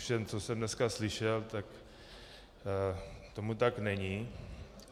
Ovšem co jsem dneska slyšel, tak tomu tak není.